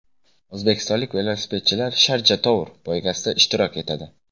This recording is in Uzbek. O‘zbekistonlik velosipedchilar Sharja Tour poygasida ishtirok etadi.